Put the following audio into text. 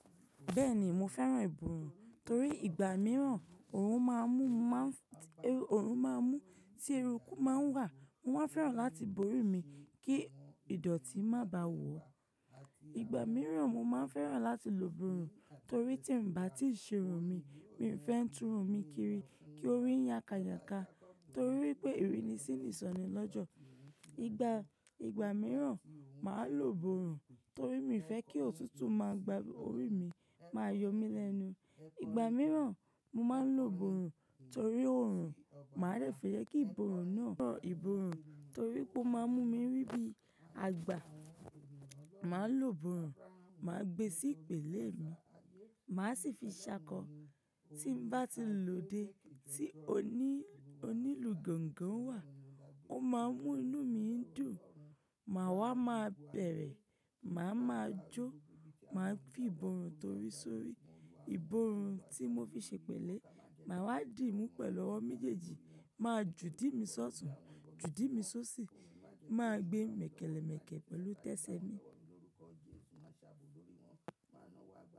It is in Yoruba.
Bẹ́ẹ̀ ni, mo fẹ́ràn ìbòòrùn torí ìgbà mìíràn òòrùn máa ń mú, máa ń, òòrùn máa ń mú tí eruku máa ń wà. Mo máa fẹ́ràn láti borí mi kí ìdọ̀tí má bá wò ó. Ìgbà mìíràn mo máa ń fẹ́ràn láti lò ìbòòrùn torí tí ń bá ti ṣerun mi, mi fẹ́ ń túnrun mi kiri kí orí yá ká yà ká torí pé ère ni sí ń sọnìí lọ́jọ́. Ìgbà, ìgbà mìíràn màá lò ìbòòrùn torí mi fẹ́ kí òtútù máa gba orí mi, máa yọ mí lẹ́nu. Ìgbà mìíràn mo máa ń lò ìbòòrùn torí òòrùn, màá rẹ̀ fẹ́rẹ̀ẹ́ kí ìbòòrùn náà, ìbòòrùn torí pé ó máa ń mú mi rí bí àgbà. Màá lò ìbòòrùn, màá gbe sí ìpèlé mi, màá sì fi ṣákọ. Tí ń bá ti lòde tí oní, onílù gángan wà, ó máa ń mú inú mi dùn. Màá wá máa bẹ̀rẹ̀, màá máa jó, màá fi ìbòòrùn torí sórí. Ìbòòrùn tí mo fi ṣe pèlé, màá wá dìmú pẹ̀lú ọwọ́ méjèèjì, máa jù idímí ṣótùn, jù idímí ṣóṣì, màá gbé mèkẹ́lẹ̀mèkẹ́ pẹ̀lú tẹsẹ̀ mi.